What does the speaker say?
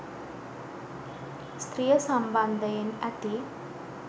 ස්ත්‍රිය සම්බන්ධයෙන් ඇති